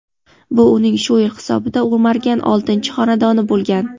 Bu uning shu yil hisobida o‘margan oltinchi xonadoni bo‘lgan.